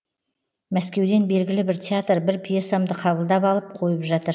мәскеуден белгілі бір театр бір пьесамды қабылдап алып қойып жатыр